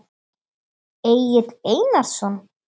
Egill Einarsson?